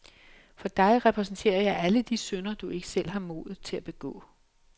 For dig repræsenterer jeg alle de synder, du ikke selv har modet til at begå.